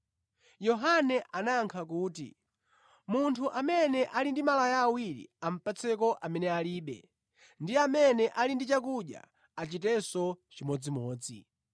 Yohane anayankha kuti, “Munthu amene ali ndi malaya awiri apatseko amene alibe, ndi amene ali ndi chakudya achitenso chimodzimodzi.”